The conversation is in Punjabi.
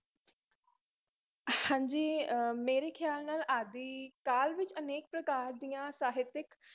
ਹਾਂਜੀ ਅਹ ਮੇਰੇ ਖਿਆਲ ਨਾਲ ਆਦਿ ਕਾਲ ਵਿੱਚ ਅਨੇਕ ਪ੍ਰਕਾਰ ਦੀਆਂ ਸਾਹਿਤਿਕ